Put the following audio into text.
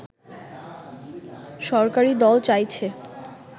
সরকারী দল চাইছে